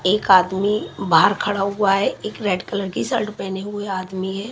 एक आदमी बाहर खड़ा हुआ है एक रेड कलर की शर्ट पहने हुए आदमी है।